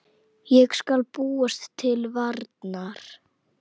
Ég skal búast til varnar.